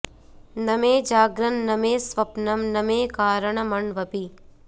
न मे जाग्रन्न मे स्वप्नं न मे कारणमण्वपि